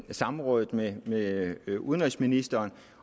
samrådet med med udenrigsministeren